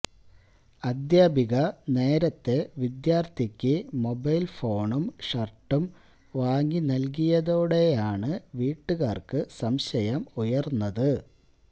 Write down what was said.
അധ്യാപിക നേരത്തേ വിദ്യാര്ഥിക്ക് മൊബൈല് ഫോണും ഷര്ട്ടും വാങ്ങി നല്കിയതോടെയാണ് വീട്ടുകാര്ക്ക് സംശയം ഉയര്ന്നത്